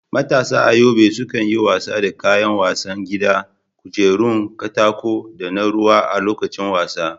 Matasa a Yobe sukan yi wasa da kayan wasan gida, kujerun katako, da na ruwa a lokacin wasa.